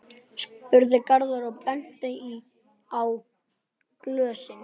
spurði Garðar og benti á glösin.